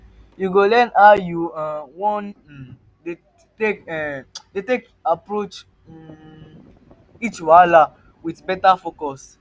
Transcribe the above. yu go learn to decide how yu um wan um take dey um take dey approach um each wahala wit beta focus